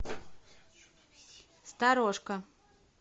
сторожка